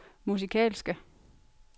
musikalske